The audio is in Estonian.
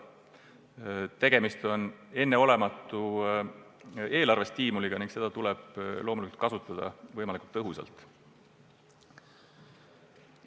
Tegemist on enneolematu eelarvestiimuliga ning loomulikult tuleb seda kasutada võimalikult tõhusalt.